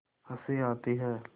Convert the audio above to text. हँसी आती है